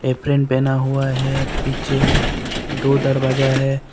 Apron पहना हुआ है पीछे दो दरवाजा है।